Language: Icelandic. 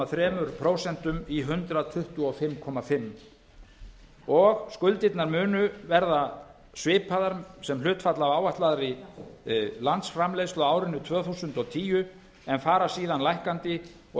komma þrjú prósent í hundrað tuttugu og fimm og hálft prósent skuldirnar munu verða svipaðar sem hlutfall af áætlaðri landsframleiðslu á árinu tvö þúsund og tíu en fara síðan lækkandi og